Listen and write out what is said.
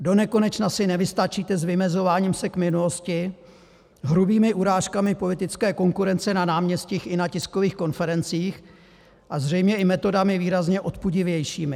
Donekonečna si nevystačíte s vymezováním se k minulosti, hrubými urážkami politické konkurence na náměstích i na tiskových konferencích a zřejmě i metodami výrazně odpudivějšími.